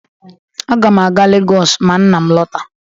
Aga m aga Lagos ma nna m alọta